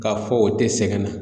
K'a fɔ o tɛ sɛgɛn na